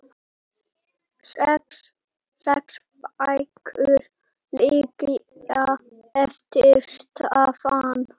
Sex bækur liggja eftir Stefán